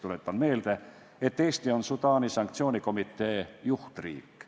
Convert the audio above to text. Tuletan meelde, et Eesti on Sudaani sanktsioonikomitee juhtriik.